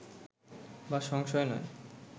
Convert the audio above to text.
বা সংশয় নয়